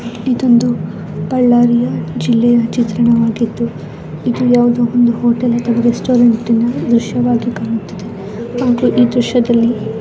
ಇದೊಂದು ಬಳ್ಳಾರಿಯ ಜೆಲ್ಲೆಯ ಚಿತ್ರಣವಾಗಿದ್ದು ಇದು ಯಾವ್ದೋ ಒಂದು ಹೋಟೆಲ್ ಅಥವಾ ರೆಸ್ಟೋರೆಂಟ್ ದೃಶ್ಯವಾಗಿ ಕಾಣುತ್ತಿದೆ ಹಾಗು ಈ ದೃಶ್ಯದಲ್ಲಿ--